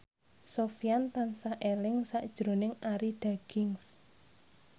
Sofyan tansah eling sakjroning Arie Daginks